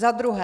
Za druhé.